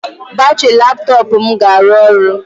Batrị laptọọpụ m ga-arụ ọrụ.